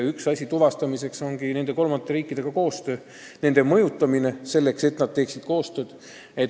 Üks asi ongi koostöö nende kolmandate riikidega, nende mõjutamine selleks, et nad teeksid koostööd.